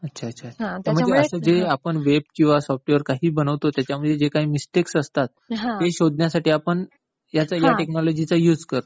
अच्छा अच्छा. म्हणजे असं जे काही वेब किंवा सॉफ्टवेअर आपण जे काही बनवतो त्याच्यामध्ये जे काही मिस्टेक्स असतात, ते शोधण्यासाठी आपण ह्या टेकनॉलॉजी चा युज करतो.